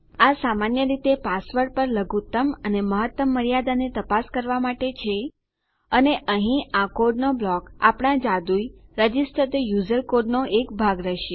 આ સામાન્ય રીતે પાસવર્ડ પર લઘુત્તમ અને મહત્તમ મર્યાદાને તપાસ કરવા માટે છે અને અહીં આ કોડનો બ્લોક આપણા જાદુઈ રજિસ્ટર થે યુઝર કોડનો એક ભાગ રહેશે